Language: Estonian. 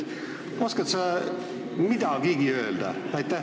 Oskad sa midagigi öelda?